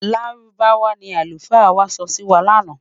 Lárúbáwá ní alufa wà sọ Si mí lànà